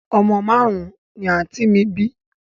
Omo marun-un ni anti mi bi